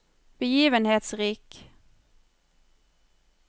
begivenhetsrik